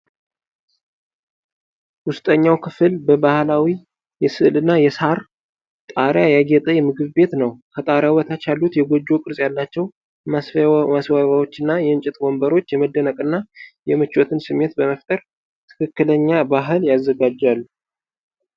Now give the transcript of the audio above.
ውስጠኛው ክፍል በባህላዊ የሥዕልና የሳር ጣሪያ ያጌጠ ምግብ ቤት ነው። ከጣሪያው በታች ያሉት የጎጆ ቅርጽ ያላቸው ማስዋቢያዎችና የእንጨት ወንበሮች የመደነቅንና የምቾትን ስሜት በመፍጠር ለትክክለኛ ባህል ያዘጋጃሉ።